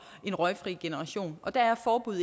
en røgfri generation og der er forbud